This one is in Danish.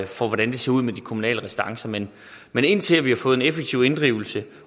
for hvordan det ser ud med de kommunale restancer men indtil vi har fået en effektiv inddrivelse